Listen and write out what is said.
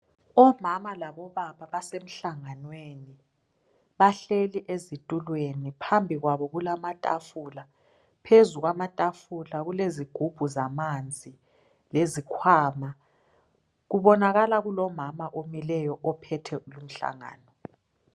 Omama labobaba basemhlanganweni. Bahleli ezitulweni. Phambi kwabo kulamatafula, phezu kwamatafula kulezigubhu zamanzi lezikhwama. Kubonakala kulomama omileyo ophethe umhlangano.